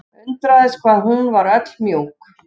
Undraðist hvað hún var öll mjúk.